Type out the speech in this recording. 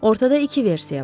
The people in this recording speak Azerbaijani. Ortada iki versiya var.